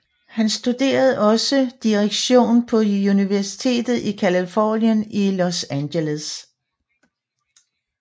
Han studerede også direktion på Universitetet i Californien i Los Angeles